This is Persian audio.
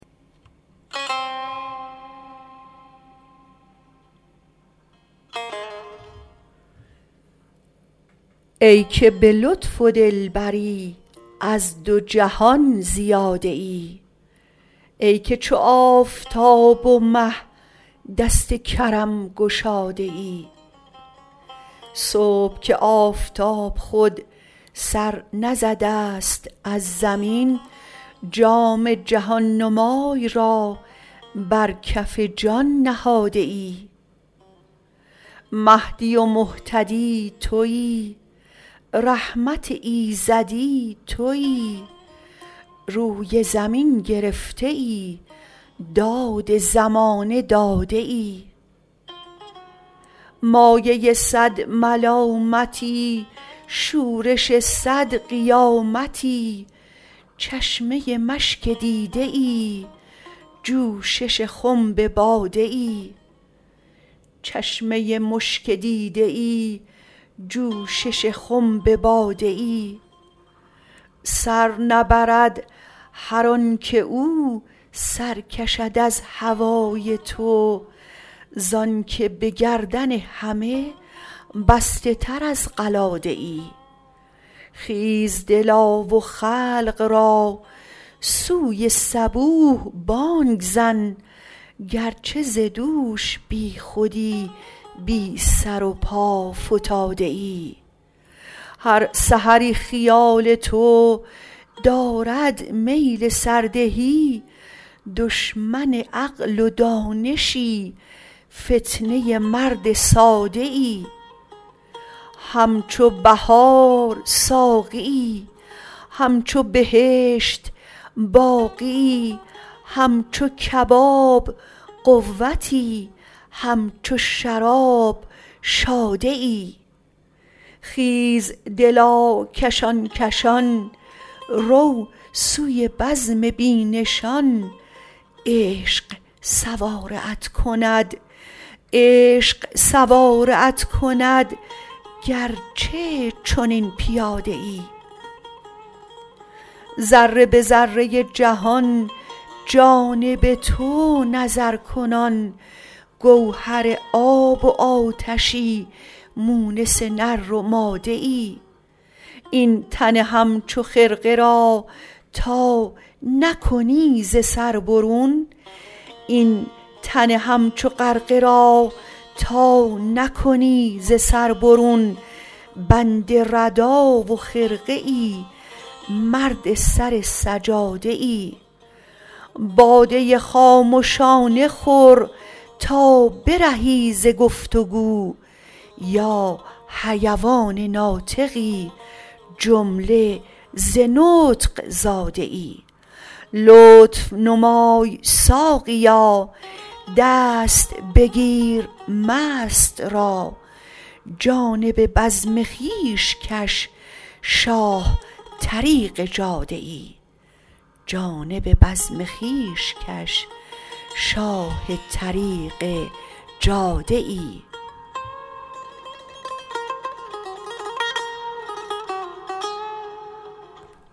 ای که به لطف و دلبری از دو جهان زیاده ای ای که چو آفتاب و مه دست کرم گشاده ای صبح که آفتاب خود سر نزده ست از زمین جام جهان نمای را بر کف جان نهاده ای مهدی و مهتدی توی رحمت ایزدی توی روی زمین گرفته ای داد زمانه داده ای مایه صد ملامتی شورش صد قیامتی چشمه مشک دیده ای جوشش خنب باده ای سر نبرد هر آنک او سر کشد از هوای تو ز آنک به گردن همه بسته تر از قلاده ای خیز دلا و خلق را سوی صبوح بانگ زن گرچه ز دوش بیخودی بی سر و پا فتاده ای هر سحری خیال تو دارد میل سردهی دشمن عقل و دانشی فتنه مرد ساده ای همچو بهار ساقیی همچو بهشت باقیی همچو کباب قوتی همچو شراب شاده ای خیز دلا کشان کشان رو سوی بزم بی نشان عشق سواره ات کند گرچه چنین پیاده ای ذره به ذره ای جهان جانب تو نظرکنان گوهر آب و آتشی مونس نر و ماده ای این تن همچو غرقه را تا نکنی ز سر برون بند ردا و خرقه ای مرد سر سجاده ای باده خامشانه خور تا برهی ز گفت و گو یا حیوان ناطقی جمله ز نطق زاده ای لطف نمای ساقیا دست بگیر مست را جانب بزم خویش کش شاه طریق جاده ای